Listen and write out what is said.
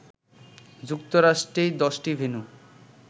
যুক্তরাষ্ট্রেই ১০টি ভেন্যু